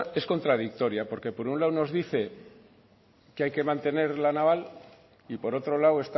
es contradictoria porque por un lado nos dice que hay que mantener la naval y por otro lado